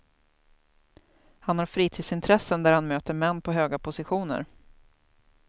Han har fritidsintressen där han möter män på höga positioner.